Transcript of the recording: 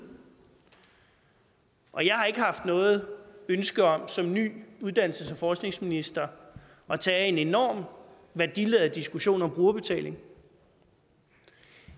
og jeg har ikke haft noget ønske om som en ny uddannelses og forskningsminister at tage en enorm værdiladet diskussion om brugerbetaling